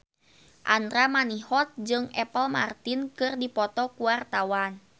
Andra Manihot jeung Apple Martin keur dipoto ku wartawan